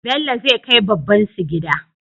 Bello zai kai babbansu gida